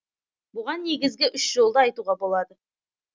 бұған негізгі үш жолды айтуға болады